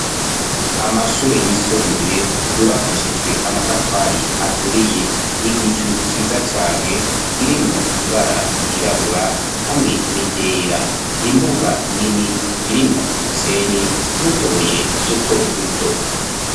Amashure yisumbuye yubakishijwe amatafari aturiye, igicu ciza cane kirimwo ibara ryirabura hamwe n'iryera, imbuga nini irimwo umusenyi n'utubuye duto duto.